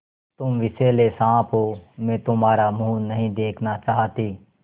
तुम विषैले साँप हो मैं तुम्हारा मुँह नहीं देखना चाहती